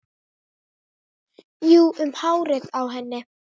Jú, um hárið á henni!